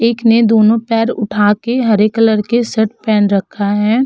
एक ने दोनों पैर उठा के हरे कलर के शर्ट पहन रखा है।